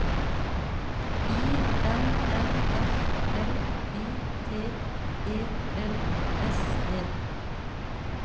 I N N F L Y T E L S E